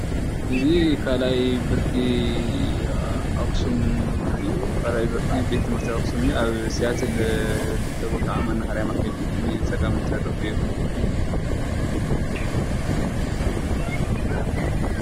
እዚ ካልኣይ ብርኪ ቤት/ቲ ኣክሱም እዩ ኣብ ስያትል ጥቃ ንመናሃርያ መንገዲ ንፀጋም ዝተርፍ እዩ።